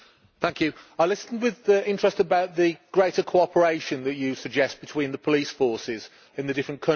I listened with interest about the greater cooperation that you suggest between the police forces in the different countries.